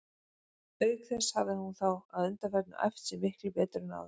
Auk þess hafði hún þá að undanförnu æft sig miklu betur en áður.